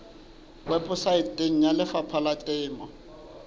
weposaeteng ya lefapha la temo